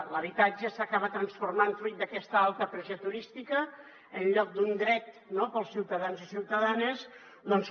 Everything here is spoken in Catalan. l’habitatge s’acaba transformant fruit d’aquesta alta pressió turística en lloc de un dret per als ciutadans i ciutadanes doncs